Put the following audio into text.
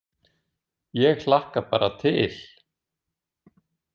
Ég hlakka bara til!